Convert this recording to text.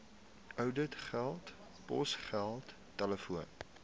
ouditgelde posgeld telefoon